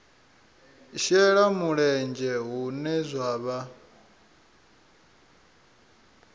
shela mulenzhe hune zwa vha